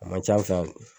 A man ca an fɛ yan